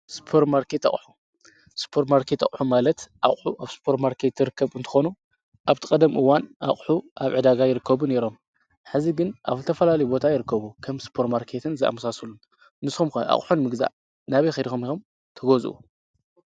ስፖር ማርኬት ኣቁሑ ስፖርማርኬት ኣቁሑ ማለት ኣቁሑ ኣብ ስርፖማርኬት ዝርከቡ እንትኮኑ ኣብቲ ቀደም ኣቁሑ ኣብ ዕዳጋ ይርከቡ ነይሮም። ሕዚ ግን ኣብ ዝተፈላለዩ ቦታ ይርከቡ ከም ስፖርማርኬትን ዝኣምሳሰሉ። ንስኩም ከ ኣቁሑ ንምግዛእ ናበይ ከይድኩም ኢኩም ትገዝኡ?